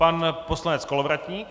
Pan poslanec Kolovratník.